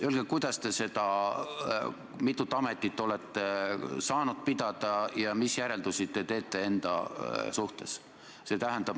Öelge, kuidas te neid mitut ametit olete saanud pidada ja mis järeldusi te teete enda suhtes.